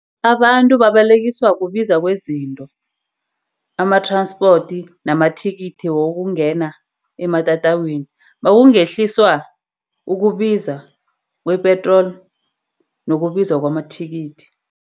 Abantu babalekiswa kubiza kwezinto ama-transport namathikithi wokungena ematatawini. Nakungehliswa ukubiza kwe-petrol nokubiza kwamathikithi.